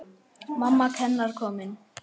Mamma hennar komin.